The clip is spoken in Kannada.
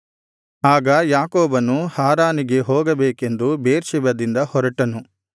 ಆಗ ಯಾಕೋಬನು ಹಾರಾನಿಗೆ ಹೋಗಬೇಕೆಂದು ಬೇರ್ಷೆಬದಿಂದ ಹೊರಟನು